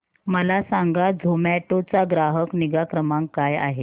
मला सांगा झोमॅटो चा ग्राहक निगा क्रमांक काय आहे